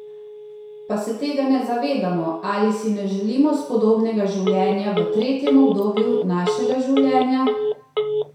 Pa se tega ne zavedamo ali si ne želimo spodobnega življenja v tretjem obdobju našega življenja?